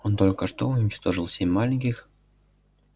он только что уничтожил семь маленьких